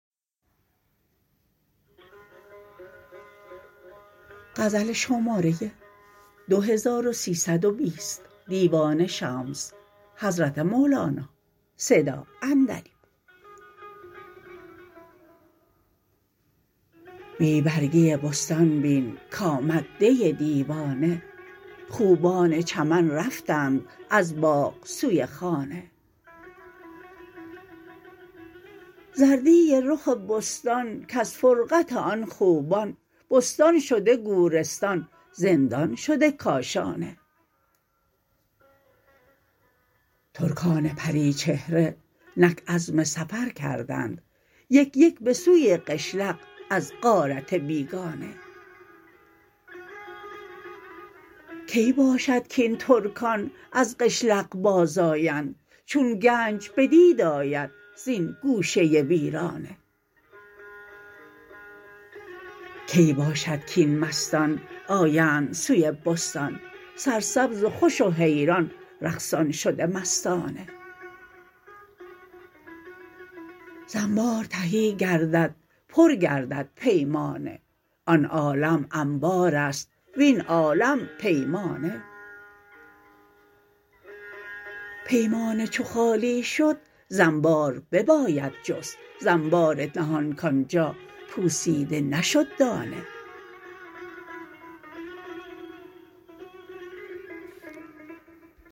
بی برگی بستان بین کآمد دی دیوانه خوبان چمن رفتند از باغ سوی خانه زردی رخ بستان کز فرقت آن خوبان بستان شده گورستان زندان شده کاشانه ترکان پری چهره نک عزم سفر کردند یک یک به سوی قشلق از غارت بیگانه کی باشد کاین ترکان از قشلق بازآیند چون گنج بدید آید زین گوشه ویرانه کی باشد کاین مستان آیند سوی بستان سرسبز و خوش و حیران رقصان شده مستانه ز انبار تهی گردد پر گردد پیمانه آن عالم انبار است وین عالم پیمانه پیمانه چو شد خالی ز انبار بباید جست ز انبار نهان کان جا پوسیده نشد دانه